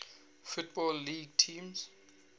football league teams